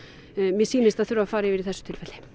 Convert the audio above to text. mér sýnist að þurfi að fara yfir í þessu tilviki